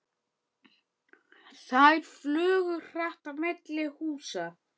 Þær flugu hratt á milli húsa.